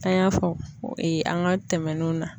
An y'a fɔ an ka tɛmɛniw na.